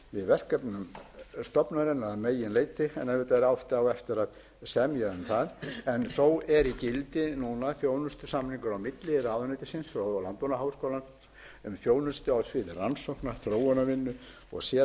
verkefnum stofnunarinnar að miklu leyti en auðvitað á eftir að semja um það þó er í gildi núna þjónustusamningur milli ráðuneytisins og landbúnaðarháskólans um þjónustu á sviði rannsókna þróunarvinnu og